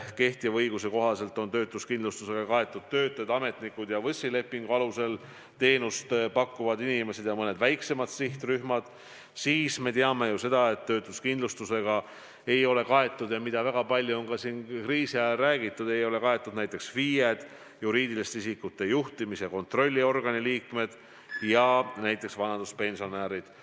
Kehtiva õiguse kohaselt on töötuskindlustusega kaetud töötajad, ametnikud ja VÕS-i lepingu alusel teenust pakkuvad inimesed ja mõned väiksemad sihtrühmad, aga me teame ju seda, et töötuskindlustusega ei ole kaetud – seda on väga palju ka kriisi ajal räägitud – näiteks FIE-d, juriidiliste isikute juhtimis- ja kontrolliorgani liikmed ja näiteks vanaduspensionärid.